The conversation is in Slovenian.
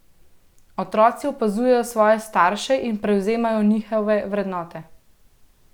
Otroci opazujejo svoje starše in prevzemajo njihove vrednote.